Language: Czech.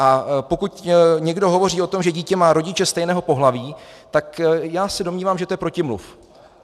A pokud někdo hovoří o tom, že dítě má rodiče stejného pohlaví, tak já se domnívám, že to je protimluv.